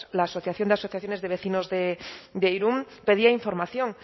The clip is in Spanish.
la asociación de asociaciones de vecinos de irún pedía información